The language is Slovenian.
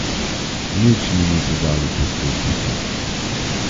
Nič mi niso dali poskusiti.